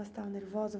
Ela estava nervosa?